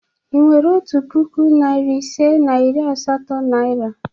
Ị nwere otu puku, narị ise na iri asatọ naịra?